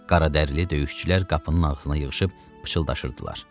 Qaradərili döyüşçülər qapının ağzına yığışıb pıçıldaşırdılar.